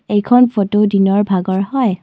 এইখন ফটো দিনৰ ভাগৰ হয়।